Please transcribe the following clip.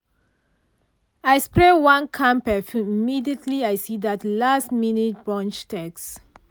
i spray one calm perfume immediately i see that last-minute brunch text.